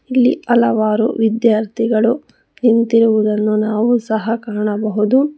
ಇಲ್ಲಿ ಹಲವಾರು ವಿದ್ಯಾರ್ಥಿಗಳು ನಿಂತಿರುವುದನ್ನು ನಾವು ಸಹ ಕಾಣಬಹುದು.